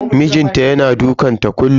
Mijin ta yana dukanta kullun.